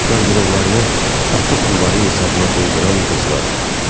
Qarderoblarını ata pulları hesabına dolduran qızlar.